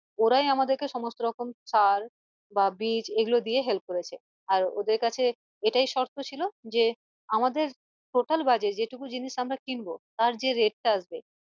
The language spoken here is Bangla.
ওরাই আমাদেরকে সমস্ত রকম সার বা বীজ এগুলো দিয়ে help করেছে আর ওদের কাছে এটাই শর্ত ছিলো যে আমাদের total budget যে টুকু জিনিস আমরা কিনবো তার যে rate টা আসবে